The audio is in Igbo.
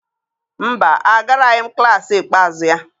mba, Agaraghị m klas ikpeazụ ya.